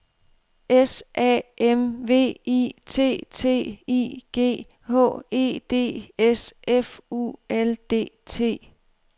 S A M V I T T I G H E D S F U L D T